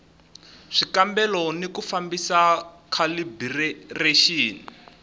swikambelo ni ku fambisa khalibirexini